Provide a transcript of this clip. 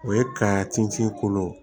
O ye ka tin ci i kolo